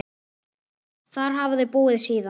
Þar hafa þau búið síðan.